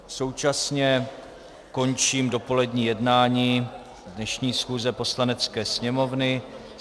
Současně končím dopolední jednání dnešní schůze Poslanecké sněmovny.